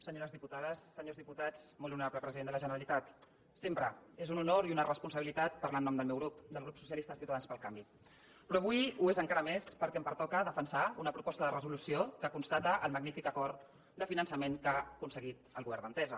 senyores diputades senyors diputats molt honorable president de la generalitat sempre és un honor i una responsabilitat parlar en nom del meu grup del grup socialistes ciutadans pel canvi però avui ho és encara més perquè em pertoca defensar una proposta de resolució que constata el magnífic acord de finançament que ha aconseguit el go vern d’entesa